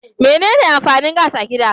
Mene ne amfanin gas a gida?